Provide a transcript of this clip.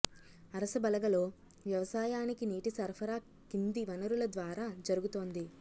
అరసబలగలో వ్యవసాయానికి నీటి సరఫరా కింది వనరుల ద్వారా జరుగుతోంది